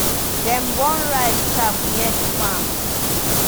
dem burn rice chaff near the farm.